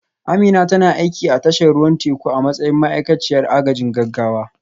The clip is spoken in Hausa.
Amina tana aiki a tashar ruwan teku a matsayin ma'aikaciyar agajin gaggawa